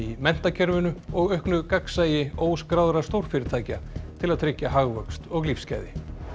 menntakerfinu og auknu gagnsæi óskráðra stórfyrirtækja til að tryggja hagvöxt og lífsgæði